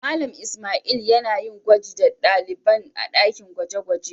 Mallam lsmaila yana yin gwaji da dalibain a dakin gwaje-gwaje.